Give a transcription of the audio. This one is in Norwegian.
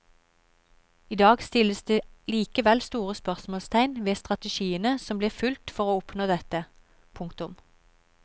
I dag stilles det likevel store spørsmålstegn ved strategiene som ble fulgt for å oppnå dette. punktum